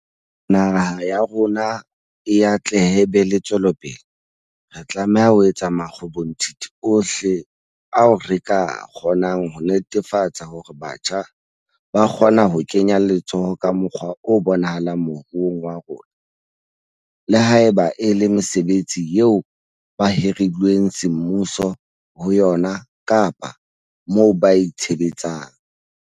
Hore naha ya rona e atlehe e be e tswelepele, re tlameha ho etsa makgobonthithi ohle ao re ka a kgonang ho netefatsa hore batjha ba kgona ho kenya letsoho ka mokgwa o bonahalang moruong wa rona, le haeba e le mesebetsing eo ba hirilweng semmuso ho yona kapa moo ba itshebetsang.